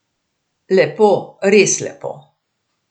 Lepo, res lepo.